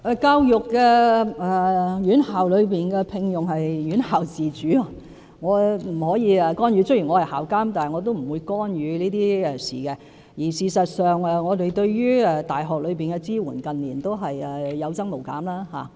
教育院校的聘用事宜是院校自主的，我不可以干預，雖然我是校監，但我不會干預這些事情，而事實上，我們對大學的支援近年是有增無減的。